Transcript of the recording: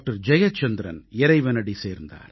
ஜெயச்சந்திரன் இறைவனடி சேர்ந்தார்